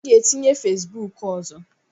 M ga-etinye Fesibuku ọzọ.